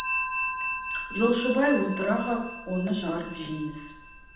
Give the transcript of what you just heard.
жолшыбай отыра ғап оны жарып жейміз